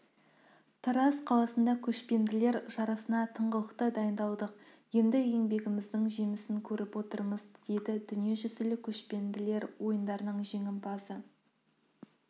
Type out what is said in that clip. тараз қаласында көшпенділер жарысына тыңғылықты дайындалдық енді еңбегіміздің жемісін көріп отырмыз деді дүниежүзілік көшпенділер ойындарының жеңімпазы